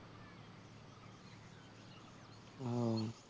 হম